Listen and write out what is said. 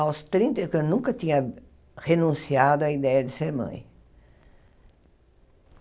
aos trinta e tan, nunca tinha renunciado a ideia de ser mãe.